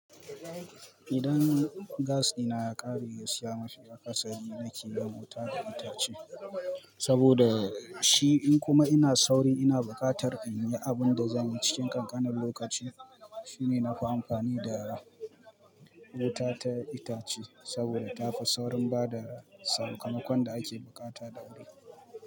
Idan gas ɗina ya ƙare, gasiya mafi akasari nake yin wuta da itace saboda shi in kuma ina sauri ina buƙatar in yi abun da zanyi cikin ƙanƙanan lokaci shine na fi amfani da wuta ta itace saboda tafi saurin bada sakamakon da ake buƙata da wuri.